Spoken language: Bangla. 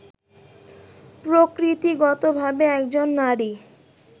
প্রকৃতিগতভাবে একজন নারী